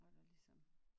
Hvor der ligesom